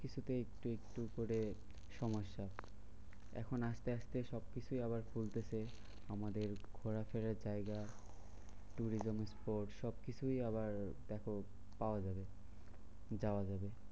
কিছুতেই একটু একটু করে সমস্যা। এখন আসতে আসতে সবকিছুই আবার খুলতেছে আমাদের ঘোরাফেরার জায়গা, tourism spot সবকিছুই আবার দেখো পাওয়া যাবে যাওয়া যাবে।